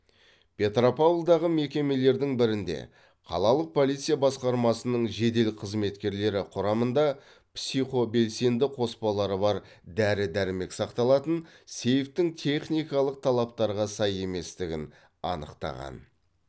петропавлдағы мекемелердің бірінде қалалық полиция басқармасының жедел қызметкерлері құрамында психобелсенді қоспалары бар дәрі дәрмек сақталатын сейфтің техникалық талаптарға сай еместігін анықтаған